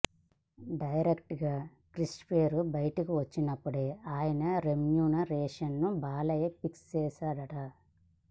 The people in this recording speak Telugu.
డైరెక్టర్ గా క్రిష్ పేరు బయటకొచ్చినప్పుడే ఆయన రెమ్యూనరేషన్ ను బాలయ్య ఫిక్స్ చేసాడట